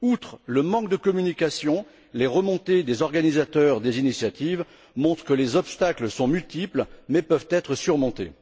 Outre le manque de communication, les retours d'information des organisateurs des initiatives montrent que les obstacles sont multiples mais peuvent être surmontés.